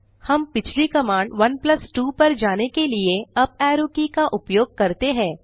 हम पिछली कमांड 12 पर जाने के लिए अप एरो की का उपयोग करते हैं